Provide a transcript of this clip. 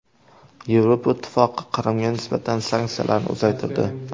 Yevropa Ittifoqi Qrimga nisbatan sanksiyalarni uzaytirdi.